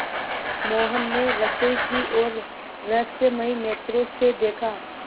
मोहन ने रसोई की ओर रहस्यमय नेत्रों से देखा